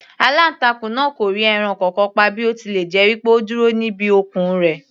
Aláǹtakùn náà kò rí ẹran kankan pa bí ó tilẹ̀ jẹ́ pé ó dúró níbi okùn rẹ̀.